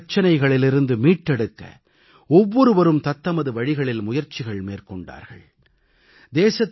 தேசத்தை அதன் பிரச்சினைகளிலிருந்து மீட்டெடுக்க ஒவ்வொருவரும் தத்தமது வழிகளில் முயற்சிகள் மேற்கொண்டார்கள்